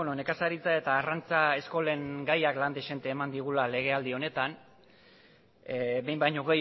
nekazaritza eta arrantza eskolen gaiak lan dezente eman digula legealdi honetan behin baino